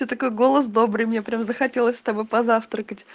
то такой голос добрый мне прям захотелось с тобой позавтракать